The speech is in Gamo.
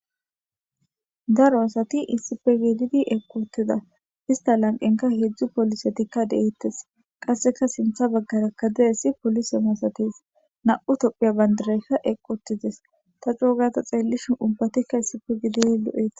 daro asati issife gididi eqotida ista lanqenka heedzdzu polisetikka deeettes qasseka sintha baggara kadiessi polise masatis na7u topphiya bandireka eqqotides ta coogata xeellishin ubbatikka issife giidid lo7ee